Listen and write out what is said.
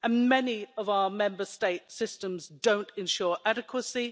Many of our Member States' systems don't ensure adequacy